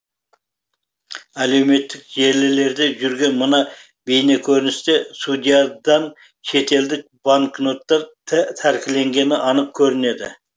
әлеуметтік желілерде жүрген мына бейнекөріністе судьядан шетелдік банкноттар тәркіленгені анық көрінеді